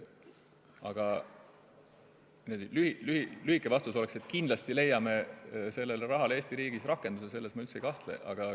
Aga lühike vastus oleks, et kindlasti leiame sellele rahale Eesti riigis rakenduse, selles ma üldse ei kahtle.